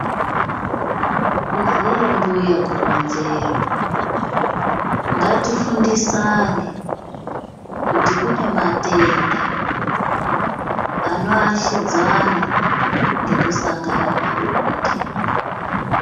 Kuziya mbuya kuronzerwa. Ngatifundisane kuti kunematenda ano ashidzwana ngekusangana pabonde.